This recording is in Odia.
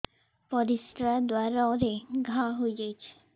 ପରିଶ୍ରା ଦ୍ୱାର ରେ ଘା ହେଇଯାଇଛି